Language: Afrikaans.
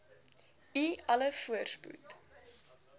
u alle voorspoed